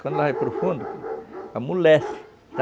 Quando ela vai para o fundo, amolece,